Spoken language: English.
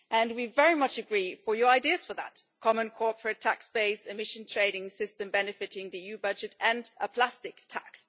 We very much agree with your ideas for that a common corporate tax base, emission trading system benefiting the EU budget, and a plastic tax.